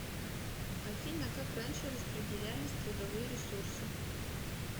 афина как раньше распределялись трудовые ресурсы